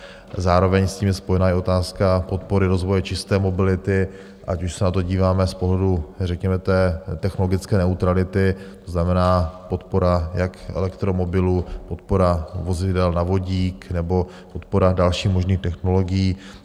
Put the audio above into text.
Zároveň s tím je spojena i otázka podpory rozvoje čisté mobility, ať už se na to díváme z pohledu řekněme technologické neutrality, to znamená podpora jak elektromobilů, podpora vozidel na vodík nebo podpora dalších možných technologií.